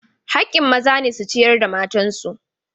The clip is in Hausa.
Haƙƙin maza ne su ciyar da matan su.